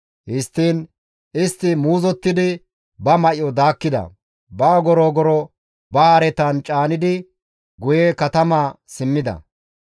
Histtiin istti muuzottidi ba may7o daakkida; ba ogoro ogoro ba haretan caanidi guye katamaa simmida.